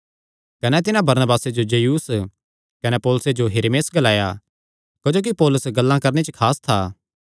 कने तिन्हां बरनबासे जो ज्यूस कने पौलुसे जो हिरमेस ग्लाया क्जोकि पौलुस गल्लां करणे च खास था